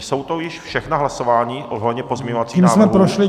Jsou to již všechna hlasování ohledně pozměňovacích návrhů?